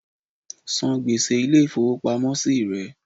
San gbèsè Ilé ìfowópamọ́ sí re